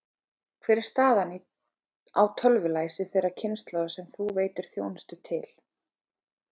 Hver er staðan á tölvulæsi þeirrar kynslóðar sem þú veitir þjónustu til?